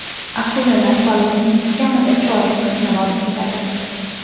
Akulalar baliqning kamida chorak qismini olib ketadi.